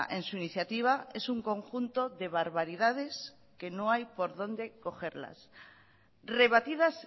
en su iniciativa es un conjunto de barbaridades que no hay por dónde cogerlas rebatidas